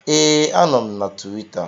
Ee, anọ m na Tuwita